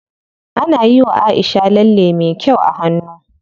Ana yiwa Aisha lalle me kyau a hannu.